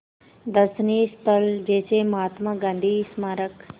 दर्शनीय स्थल जैसे महात्मा गांधी स्मारक